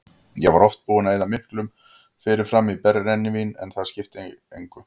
Ég var oft búinn að eyða miklu fyrirfram í brennivín og það skipti mig mestu.